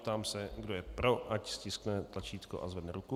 Ptám se, kdo je pro, ať stiskne tlačítko a zvedne ruku.